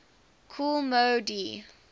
kool moe dee